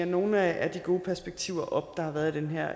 nogle af de gode perspektiver op der har været i den her